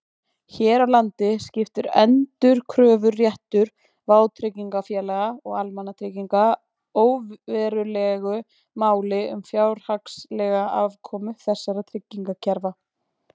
Hér á landi skiptir endurkröfuréttur vátryggingafélaga og almannatrygginga óverulegu máli um fjárhagslega afkomu þessara tryggingakerfa.